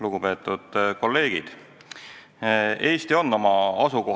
Lugupeetud kolleegid!